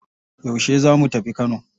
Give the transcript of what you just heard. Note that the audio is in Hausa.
Yaushe za mu tafi Kano?